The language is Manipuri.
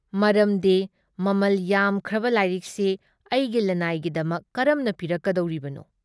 ꯃꯔꯝꯗꯤ ꯃꯃꯜ ꯌꯥꯝꯈ꯭ꯔꯕ ꯂꯥꯏꯔꯤꯛꯁꯤ ꯑꯩꯒꯤ ꯂꯅꯥꯏꯒꯤꯗꯃꯛ ꯀꯔꯝꯅ ꯄꯤꯔꯛꯀꯗꯧꯔꯤꯕꯅꯣ?